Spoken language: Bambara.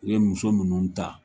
U ye muso munnu ta